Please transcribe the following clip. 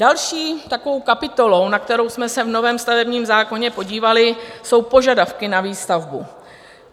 Další takovou kapitolou, na kterou jsme se v novém stavebním zákoně podívali, jsou požadavky na výstavbu.